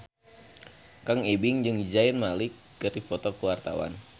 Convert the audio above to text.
Kang Ibing jeung Zayn Malik keur dipoto ku wartawan